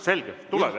Selge, tuleb.